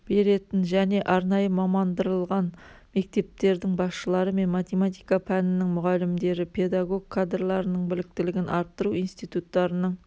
беретін және арнайы мамандандырылған мектептердің басшылары мен математика пәнінің мұғалімдері педагог кадрларының біліктілігін арттыру институттарының